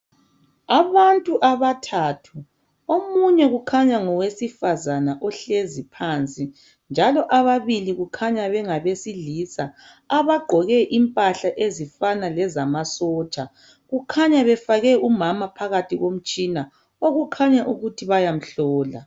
Abantu abathathu , omunye ukhanya ngowesifazana ohlezi phansi njalo ababili kukhanya bengabe silisa abagqoke impahla ezifana lezamasotsha kukhanya befake umama phakathi komtshina okukhanya ukuthi bayamhlola.